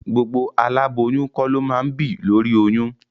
Gbogbo aláboyún kọ́ ló máa ń bì lóri oyún.